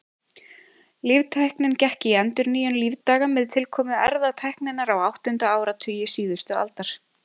Líftæknin gekk í endurnýjun lífdaga með tilkomu erfðatækninnar á áttunda áratugi síðustu aldar.